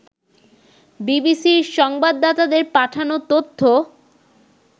বিবিসির সংবাদদাতাদের পাঠানো তথ্য